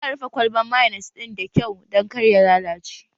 Za a rufe kwalban mayonis ɗin da kyau dan kar ya lallace